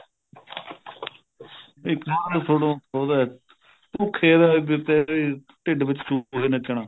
ਉਹਦਾ ਭੁੱਖੇ ਦਾ ਇੱਕ ਵੀ ਢਿੱਡ ਵਿੱਚ ਚੂਹੇ ਨੱਚਣਾ